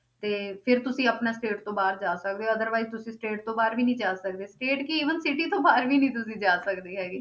ਤੇ ਫਿਰ ਤੁਸੀਂ ਆਪਣਾ state ਤੋਂ ਬਾਹਰ ਜਾ ਸਕਦੇ ਹੋ otherwise ਤੁਸੀਂ state ਤੋਂ ਬਾਹਰ ਵੀ ਨੀ ਜਾ ਸਕਦੇ state ਕੀ even city ਤੋਂ ਬਾਹਰ ਵੀ ਨੀ ਤੁਸੀਂ ਜਾ ਸਕਦੇ ਹੈਗੇ।